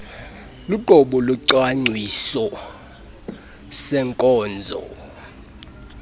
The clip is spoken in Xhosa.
luqobo lwesicwangciso seenkonzo